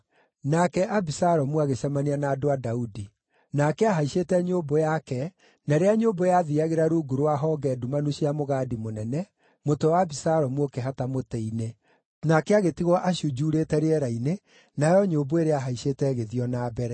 Nake Abisalomu agĩcemania na andũ a Daudi. Nake aahaicĩte nyũmbũ yake, na rĩrĩa nyũmbũ yathiiagĩra rungu rwa honge ndumanu cia mũgandi mũnene, mũtwe wa Abisalomu ũkĩhata mũtĩ-inĩ. Nake agĩtigwo acunjuurĩte rĩera-inĩ, nayo nyũmbũ ĩrĩa aahaicĩte ĩgĩthiĩ o na mbere.